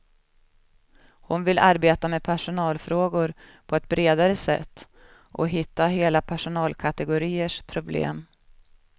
Hon vill arbeta med personalfrågor på ett bredare sätt och hitta hela personalkategoriers problem.